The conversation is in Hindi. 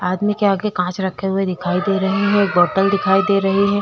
आदमी के आगे कांच रखे हुए दिखाई दे रहा है। एक बोतल दिखाई दे रही है।